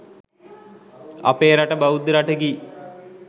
අපේ රට බෞද්ධ රටකි